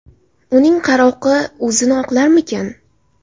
Uning qaroqi o‘zini oqlarmikan?